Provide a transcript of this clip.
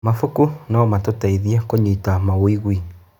Mabuku no matũteithie kũnyita mawĩgwi.